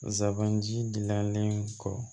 Zaban jilannen kɔ